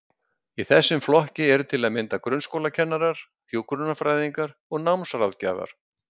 Í þessum flokki eru til að mynda grunnskólakennarar, hjúkrunarfræðingar og námsráðgjafar.